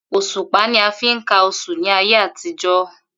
Òs̩ùpá ni a fi ń ka os̩ù ní ayé àtijó̩